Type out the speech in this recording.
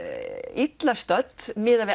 illa stödd miðað við